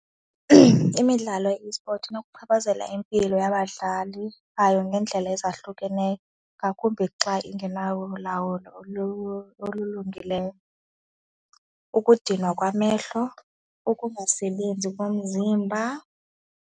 Imidlalo ye-esport inokuchaphazela impilo yabadlali bayo ngendlela ezahlukeneyo ngakumbi xa ingenalo ulawulo olulungileyo, ukudinwa kwamehlo, ukungasebenzi komzimba.